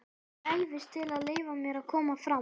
gæfist til að leyfa mér að koma fram.